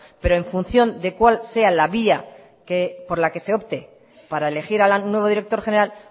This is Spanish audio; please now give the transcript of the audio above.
pero en función de cuál sea la vía por la que se opte para elegir al nuevo director general